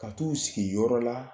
Ka t'u sigi yɔrɔ la